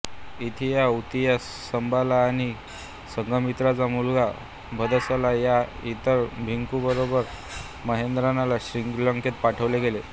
इथ्थिया उत्तिया संबला आणि संघमित्राचा मुलगा भद्दसला या इतर भिक्खूंबरोबर महेंद्रांना श्रीलंकेत पाठवले गेले